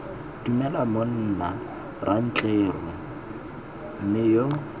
dumela monna rantleru mme yo